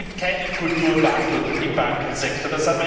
Es gibt keinen Kulturwandel im Bankensektor.